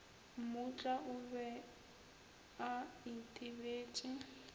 mmutla o be a itebetše